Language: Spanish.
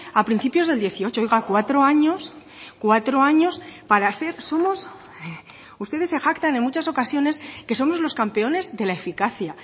a principios del dieciocho oiga cuatro años cuatro años para ser somos ustedes se jactan en muchas ocasiones que somos los campeones de la eficacia